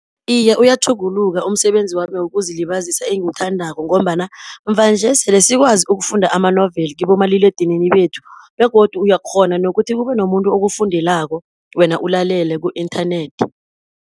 Iye uyatjhuguluka umsebenzi wami wokuzilibazisa engiwuthandako, ngombana muva-nje sele sikwazi ukufunda amanoveli kibomaliledinini bethu, begodu uyakghona nokuthi kube nomuntu okufundelako wena ulalele ku-inthanethi.